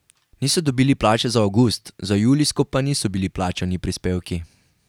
Niso dobili plače za avgust, za julijsko pa niso bili plačani prispevki.